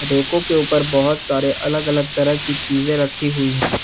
रैको के ऊपर बहुत सारे अलग अलग तरह की चीजे रखी हुई है।